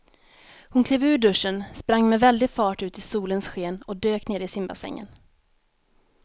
Hon klev ur duschen, sprang med väldig fart ut i solens sken och dök ner i simbassängen.